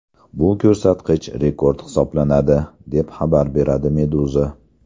Bu ko‘rsatkich rekord hisoblanadi, deb xabar beradi Meduza.